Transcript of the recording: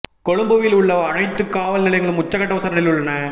கொழும்புவில் உள்ள அனைத்து காவல் நிலையங்களும் உச்சக்கட்ட உஷார் நிலையில் உள்ளன